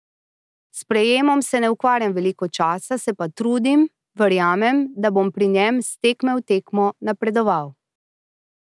S sprejemom se ne ukvarjam veliko časa, se pa trudim, verjamem, da bom pri njem s tekme v tekmo napredoval.